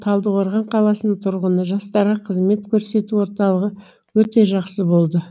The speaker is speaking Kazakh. талдықорған қаласының тұрғыны жастарға қызмет көрсету орталығы өте жақсы болды